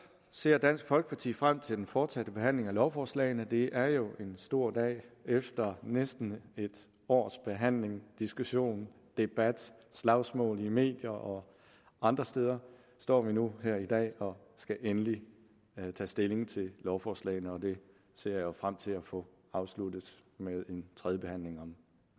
ser dansk folkeparti frem til den fortsatte behandling af lovforslagene det er jo en stor dag efter næsten et års behandling diskussion debat slagsmål i medier og andre steder står vi nu her i dag og skal endelig tage stilling til lovforslagene og det ser jeg frem til at få afsluttet med en tredjebehandling om